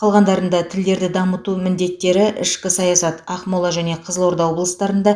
қалғандарында тілдерді дамыту міндеттері ішкі саясат ақмола және қызылорда облыстары